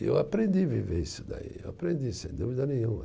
E eu aprendi viver isso daí, eu aprendi, sem dúvida nenhuma.